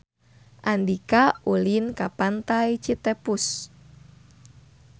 Andika ulin ka Pantai Citepus